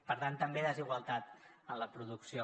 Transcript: per tant també desigualtat en la producció